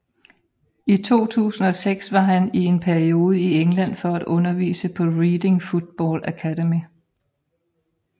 I 2006 var han i en periode i England for at undervise på Reading Football Academy